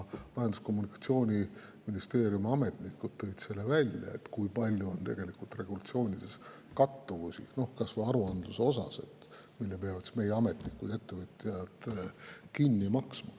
Majandus‑ ja Kommunikatsiooniministeeriumi ametnikud tõid välja, kui palju on tegelikult regulatsioonides kattuvusi, kas või aruandluses, mille peavad meie ametnikud ja ettevõtjad kinni maksma.